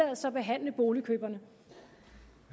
boligpakken